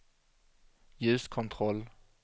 ljuskontroll